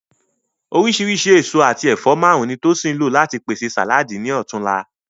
Oríṣìíríṣìí èso àti ẹ̀fọ́ márùn-ún ni Tosin lò láti pèsè sàláàdì ní ọ̀tunla